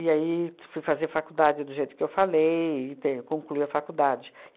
aí fui fazer faculdade do jeito que eu falei e ter concluí a faculdade.